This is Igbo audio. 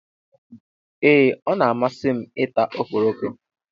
Ee, ọ na-amasị m ị ta ọkpọrọko.